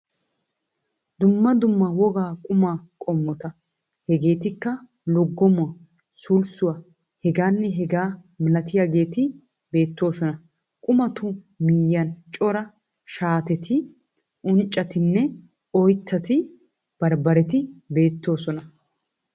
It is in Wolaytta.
Dumma dumma wogaa quma qomotta. Hgettikka loggomuwaa, sulssuwaa hegganne heggaa mallattiyaggetti beetosona. Qumattu miyiyaani cora shaatetti, uncattinne oyttatti barbaretti beettosona.